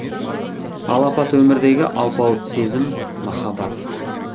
алапат өмірдегі алпауыт сезім махаббат